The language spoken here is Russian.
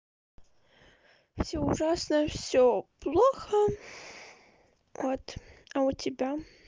всё ужасно всё плохо вот а у тебя